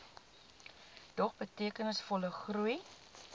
dog betekenisvolle groei